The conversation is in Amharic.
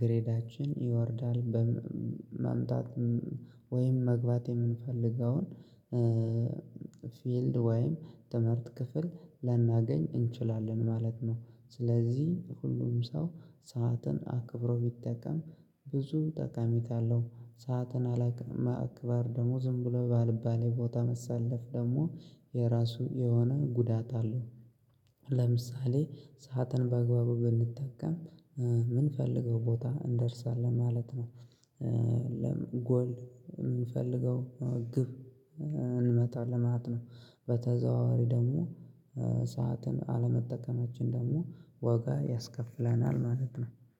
ግሬዳችን ይወርዳል በማምጣት ወይም መግባት የምንፈልገውን ፊልድ ወይም ትምህርት ክፍል ላናገኝ እንችላለን ማለት ነው። ስለዚህ ሁሉም ሰው ሰዓትን አክብሮ ቢጠቀም ብዙ ጠቀሜታ አለው። ሰዓትን አላውቅም አግባብ ደሞ ዝም ብሎ ባልባሌ ቦታ መሳለፍ ደግሞ የራሱ የሆነ ጉዳት አለው። ለምሳሌ ሰዓትን በአግባቡ ብንጠቀም ምን ፈልገው ቦታ እንደርሳለን ማለት ነው። ጎል የምንፈልገው ግብ እንመጣለን ማለት ነው። በተዘዋዋሪ ደግሞ ሰዓትን አለመጠቀማችን ደግሞ ዋጋ ያስከፍለናል ማለት ነው።